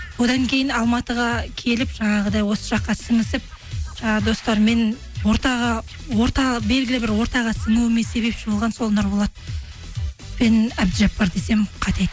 одан кейін алматыға келіп жаңағыдай осы жаққа сіңісіп жаңа достарыммен ортаға орта белгілі бір ортаға сіңуіме себепші болған сол нұрболат пен әбдіжаппар десем қате